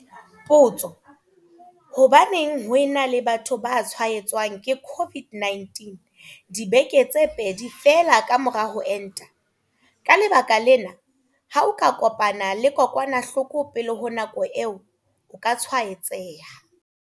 Potso. Hobaneng ho e na le batho ba tshwaetswang ke COVID-19 dibeke tse pedi feela ka mora ho enta? Ka lebaka lena, ha o ka kopana le kokwanahloko pele ho nako eo, o ka tshwaetseha.